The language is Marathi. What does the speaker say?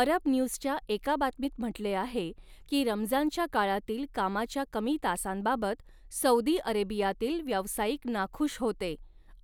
अरब न्यूजच्या एका बातमीत म्हटले आहे की, रमजानच्या काळातील कामाच्या कमी तासांबाबत सौदी अरेबियातील व्यावसायिक नाखूष होते